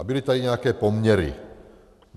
A byly tady nějaké poměry.